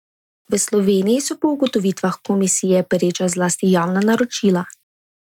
V Sloveniji so po ugotovitvah komisije pereča zlasti javna naročila.